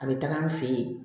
A bɛ taga an fɛ yen